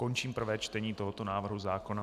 Končím prvé čtení tohoto návrhu zákona.